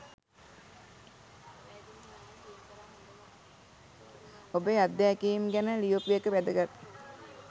ඔබේ අත්දැකීම් ගැන ලියපු එක වැදගත්.